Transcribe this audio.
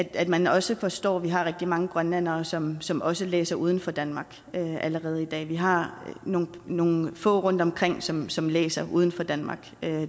at man også forstår at vi har rigtig mange grønlændere som som også læser uden for danmark allerede i dag eller vi har nogle nogle få rundtomkring som som læser uden for danmark